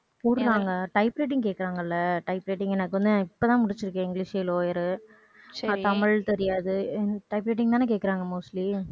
போடுவாங்க type writing கேக்குறாங்கல்ல type writing எனக்கு வந்து இப்பதான் முடிச்சிருக்கேன். இங்கிலிஷ் lower ரு தமிழ் தெரியாது type writing தானே கேக்குறாங்க mostly